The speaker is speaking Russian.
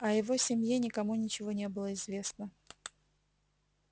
о его семье никому ничего не было известно